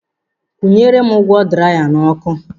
Nkwụnyere m ígwè draya n'ọkụ.